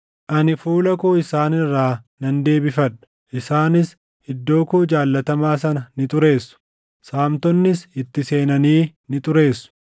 Ani fuula koo isaan irraa nan deebifadha; isaanis iddoo koo jaallatamaa sana ni xureessu; saamtonnis itti seenanii ni xureessu.